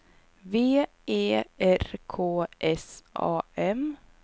V E R K S A M